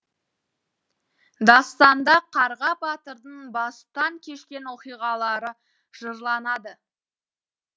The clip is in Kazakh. дастанда қарға батырдың бастан кешкен оқиғалары жырланады